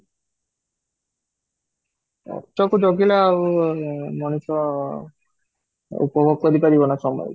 ନା ଆଉ ମଣିଷ ଆଉ cope up କରି ପାରିବ ନା ସମୟ କୁ